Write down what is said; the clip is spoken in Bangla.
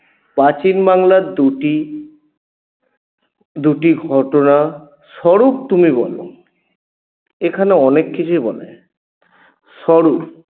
প্রাচীন বাংলার দুটি দুটি ঘটনা স্বরুপ তুমি বল এখানে অনেককিছুই বলা যায় স্বরুপ